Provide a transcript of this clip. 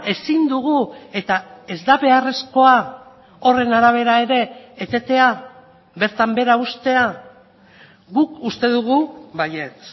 ezin dugu eta ez da beharrezkoa horren arabera ere etetea bertan behera uztea guk uste dugu baietz